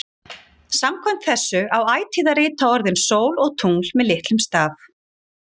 Samkvæmt þessu á ætíð að rita orðin sól og tungl með litlum staf.